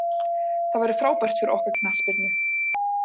Það væri frábært fyrir okkar knattspyrnu.